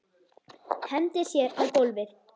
Hendir sér á gólfið.